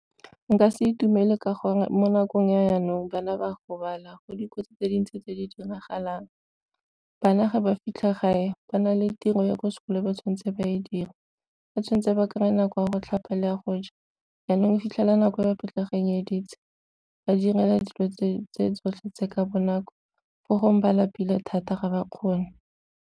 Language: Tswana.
Nka se itumelwe ka gore mo nakong ya jaanong bana ba gobala go dikotsi tse dintsi tse di diragalang. Bana ga ba fitlha gae ba na le tiro ya ko sekolong ba tshwanetse ba e dire, ba tshwanetse ba kry-e nako ya go tlhapa le ya go ja. Jaanong o fitlhela nako e ba pitlaganyeditse, ba direla dilo tse tsotlhe tse ka bonako fo gongwe ba lapile thata ga ba kgone.